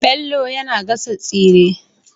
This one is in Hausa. Bello yAna gasa tsire